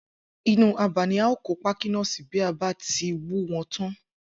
Inú abà ni a óò kó pákí náà si bí a bá ti wú wo̩n tán